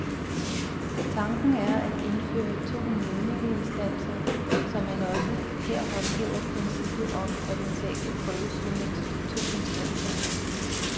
Tanken er at indføre to nævningeinstanser, så man også her håndhæver princippet om, at en sag kan prøves ved mindst to instanser.